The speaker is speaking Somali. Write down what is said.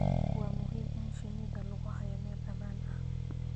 waa muhiim in shinnida lagu hayo meel ammaan ah